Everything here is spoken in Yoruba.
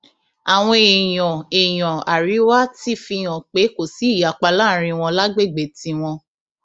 àwọn èèyàn èèyàn àríwá ti fi hàn pé kò sí ìyapa láàrin wọn lágbègbè tiwọn